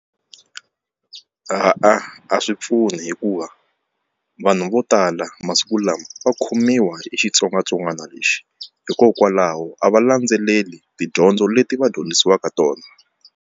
a swi pfuni hikuva vanhu vo tala masiku lama va khomiwa hi xitsongwatsongwana lexi hikokwalaho a va landzeleli tidyondzo leti va dyondzisiwaka tona.